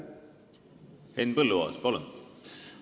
Henn Põlluaas, palun!